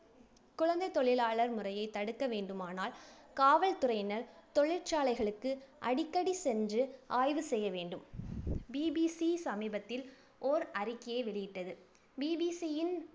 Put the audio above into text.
குழந்தைத் தொழிலாளர் முறையைத் தடுக்க வேண்டுமானால் காவல்துறையினர், தொழிற்சாலைகளுக்கு அடிக்கடிச் சென்று ஆய்வு செய்ய வேண்டும். BBC சமீபத்தில் ஓர் அறிக்கையை வெளியிட்டது. BBC யின்